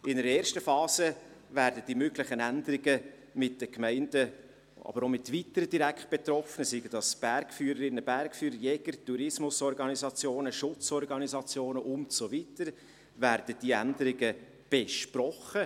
In einer ersten Phase werden die möglichen Änderungen mit den Gemeinden, aber auch mit weiteren Direktbetroffenen, wie etwa Bergführerinnen und Bergführer, Jäger, Tourismusorganisationen, Schutzorganisationen, und so weiter, besprochen.